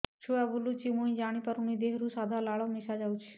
ଛୁଆ ବୁଲୁଚି ମୁଇ ଜାଣିପାରୁନି ଦେହରୁ ସାଧା ଲାଳ ମିଶା ଯାଉଚି